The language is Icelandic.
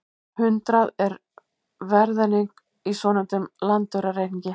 Hundrað er verðeining í svonefndum landaurareikningi.